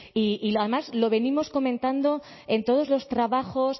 y además lo venimos comentando en todos los trabajos